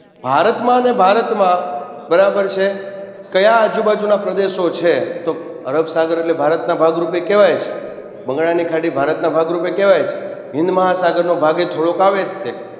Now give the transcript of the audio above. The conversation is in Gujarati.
ભારતમાને ભારતમાં બરાબર છે કયા આજુ બાજુના પ્રદેશો છે તો અરબસાગર એટલે ભારતના ભાગ રૂપે કહેવાય જ બંગાળાની ખાડી ભારતના ભાગ રૂપે કહેવાય જ હિન્દમહાસાગરનો ભાગ એ થોડોક આવે જ તે